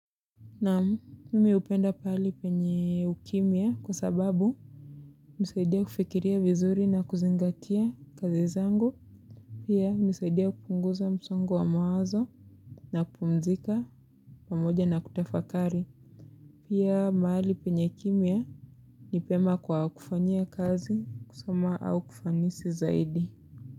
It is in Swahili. Namu, nimi upenda pali penye ukimia kwa sababu unisaidia kufikiria vizuri na kuzingatia kazi zangu. Pia nisaidia kupunguza msongo wa mawazo. Na kupumzika pamoja na kutafakari pia mahali penye kimia nipema kwa kufanyia kazi kusoma au kufanisi zaidi.